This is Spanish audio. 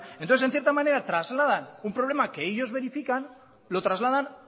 entonces en cierta manera trasladan un problema que ellos verifican lo trasladan